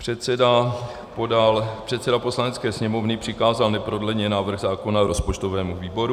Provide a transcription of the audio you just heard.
Předseda Poslanecké sněmovny přikázal neprodleně návrh zákona rozpočtovému výboru.